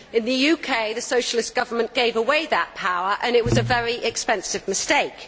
In the UK, the socialist government gave away that power and it was a very expensive mistake.